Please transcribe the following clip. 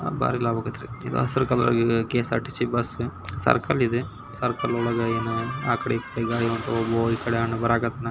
ಇದು ಹಸಿರು colour KSRTC circle ಇದೆ ಸರ್ಕಲ್ ಒಳಗೆ ಆಕಡೆ ಈಕಡೆ ಗಾಡಿ ಹೋಗುವುದು ಈಕಡೆ ಬರಕತತೆ--